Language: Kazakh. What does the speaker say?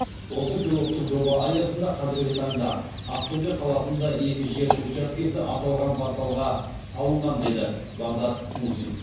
осы пилоттық жоба аясында қазіргі таңда ақтөбе қаласында екі жер учаскесі аталған порталға салынған деді бағдат мусин